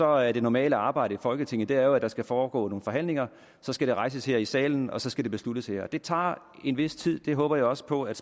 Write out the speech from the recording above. er det normale arbejde i folketinget at der skal foregå nogle forhandlinger så skal det rejses her i salen og så skal det besluttes her og det tager en vis tid jeg håber også på at